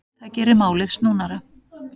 Það geri málið snúnara.